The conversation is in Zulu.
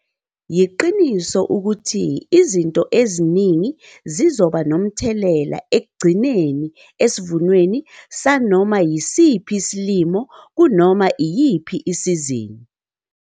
Yiqiniso ukuthi izinto eziningi zizoba nomthelela ekugcineni esivunweni sanoma yisiphi isilimo kunoma iyiphi isizini.